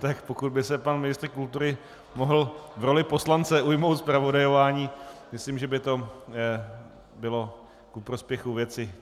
Tak, pokud by se pan ministr kultury mohl v roli poslance ujmout zpravodajování, myslím, že by to bylo ku prospěchu věci.